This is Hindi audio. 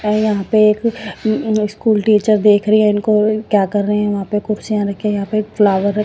और यहां पे एक उँ स्कूल टीचर देख रही है इनको क्या कर रे हैं वहां पे कुर्सियां रखी है यहां पे एक फ्लावर रख--